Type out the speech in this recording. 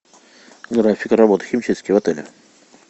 график работы химчистки в отеле